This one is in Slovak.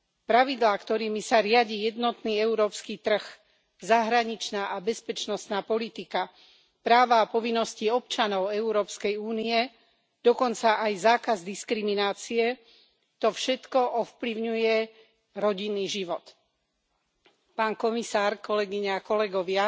Pravidlá, ktorými sa riadi jednotný európsky trh, zahraničná a bezpečnostná politika, práva a povinnosti občanov Európskej únie, dokonca aj zákaz diskriminácie, to všetko ovplyvňuje rodinný život. Pán komisár, kolegyne a kolegovia,